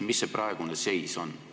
Mis see praegune seis on?